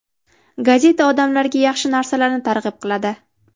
Gazeta odamlarga yaxshi narsalarni targ‘ib qiladi.